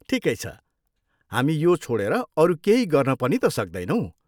ठिकै छ, हामी यो छोडेर अरू केही गर्न पनि त सक्दैनौँ।